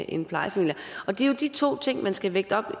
i en plejefamilie og det er jo de to ting man skal vægte